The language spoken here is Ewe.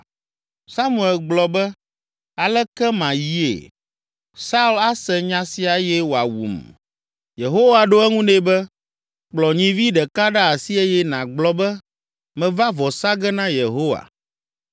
Samuel gblɔ be, “Aleke mayie? Saul ase nya sia eye wòawum.” Yehowa ɖo eŋu nɛ be, “Kplɔ nyivi ɖeka ɖe asi eye nàgblɔ be, ‘Meva vɔ sa ge na Yehowa.’